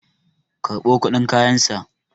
karɓo kudin kayansa!